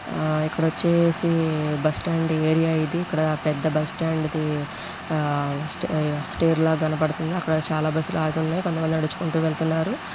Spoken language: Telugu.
ఆ ఇక్కడ వచ్చేసి బస్ స్టాండ్ ఏరియా ఇది. ఇక్కడ పెద్ద బస్ స్టాండ్ ది ఆ స్టే స్టేర్ కనపడుతుంది. అక్కడ చాలా బస్సు లు ఆగి ఉన్నాయ్. కొంత మంది నడుచుకుంటూ వెళ్తున్నారు.